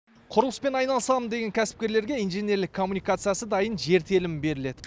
құрылыспен айналысамын деген кәсіпкерлерге инженерлік коммуникациясы дайын жер телімі беріледі